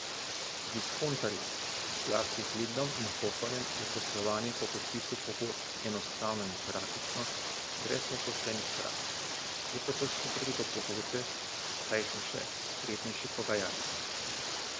Z diskontarji, zlasti z Lidlom in Hoferjem, je poslovanje po podpisu pogodb enostavno in praktično brez nepoštenih praks, je pa težko priti do pogodbe, saj so še spretnejši pogajalci.